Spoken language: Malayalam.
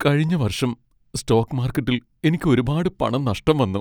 കഴിഞ്ഞ വർഷം സ്റ്റോക്ക് മാർക്കറ്റിൽ എനിക്ക് ഒരുപാട് പണം നഷ്ടം വന്നു.